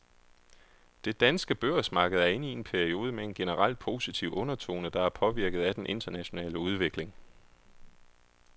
Det danske børsmarked er inde i en periode med en generelt positiv undertone, der er påvirket af den internationale udvikling.